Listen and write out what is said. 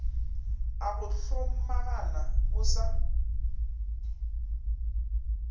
a go hlomagana o sa